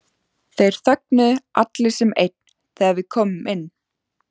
Þeir þögnuðu allir sem einn þegar við komum inn.